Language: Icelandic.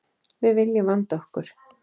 Við viljum vanda okkur.